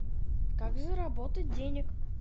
как заработать денег